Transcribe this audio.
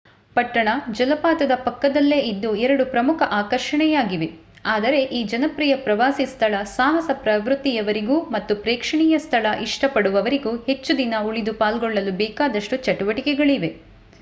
ಪಟ್ಟಣ ಜಲಪಾತದ ಪಕ್ಕದಲ್ಲೇ ಇದ್ದು ಎರಡೂ ಪ್ರಮುಖ ಆಕರ್ಷಣೆಯಾಗಿವೆ ಆದರೆ ಈ ಜನಪ್ರಿಯ ಪ್ರವಾಸಿ ಸ್ಥಳ ಸಾಹಸ ಪ್ರವೃತ್ತಿಯವರಿಗೂ ಮತ್ತು ಪ್ರೇಕ್ಷಣೀಯ ಸ್ಥಳ ಇಷ್ಟ ಪಡುವವರಿಗೂ ಹೆಚ್ಚುದಿನ ಉಳಿದು ಪಾಲ್ಗೊಳ್ಳಲು ಬೇಕಾದಷ್ಟು ಚಟುವಟಿಕೆಗಳಿವೆ